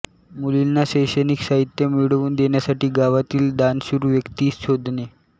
मुलींना शैक्षणिक साहित्य मिळवून देण्यासाठी गावातील दानशूर व्यक्ती शोधणे